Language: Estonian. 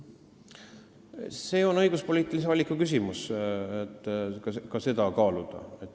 See on õiguspoliitilise valiku küsimus, kas seda kaaluda.